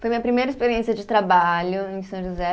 Foi minha primeira experiência de trabalho em São José.